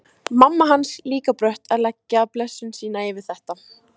Mamma hans líka brött að leggja blessun sína yfir þetta.